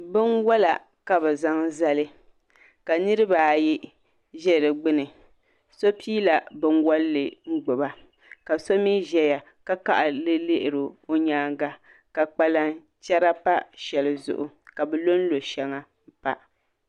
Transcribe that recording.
Binwola ka bi zaŋ zali ka niraba ayi ʒɛ di gbuni so piila binwolli n gbuba ka so mii ʒɛya ka kaɣari lihiri o nyaanga ka kpalan chɛra pa shɛli zuɣu ka bi lonlo shɛŋa pa